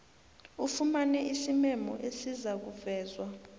ufumane isimemo esizakuvezwa